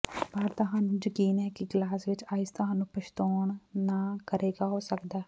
ਪਰ ਤੁਹਾਨੂੰ ਯਕੀਨ ਹੈ ਕਿ ਗਲਾਸ ਵਿੱਚ ਆਈਸ ਤੁਹਾਨੂੰ ਪਛਤਾਉਣਾ ਨਾ ਕਰੇਗਾ ਹੋ ਸਕਦਾ ਹੈ